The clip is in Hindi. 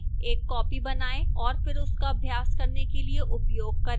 एक copy बनाएं और फिर उसका अभ्यास करने के लिए उपयोग करें